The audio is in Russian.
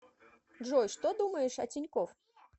джой что думаешь о тинькоф